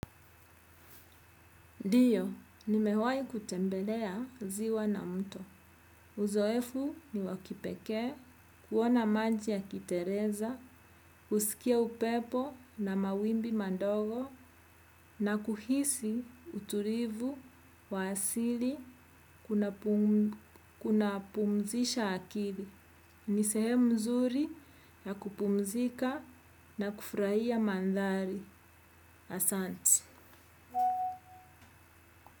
Ndiyo, nimewahi kutembelea ziwa na mto. Uzoefu ni wakipekee, kuona maji ya kitereza, usikia upepo na mawimbi madogo na kuhisi utulivu wa asili kuna pumzisha akili. Ni sehemu nzuri ya kupumzika na kufurahia mandhari. Asante.